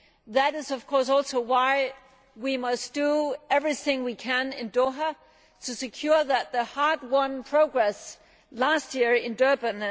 That is of course also why we must do everything we can in Doha to secure the hard won progress last year in Durban.